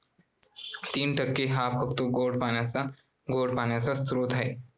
तीन टक्के हा फक्त गोड पाण्याचा स्रोत आहे.